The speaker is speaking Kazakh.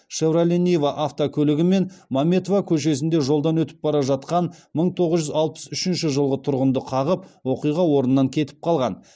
шевроле нива автокөлігімен мәметова көшесінде жолдан өтіп бара жатқан мың тоғыз жүз алпыс үшінші жылғы тұрғынды қағып оқиға орнынан кетіп қалған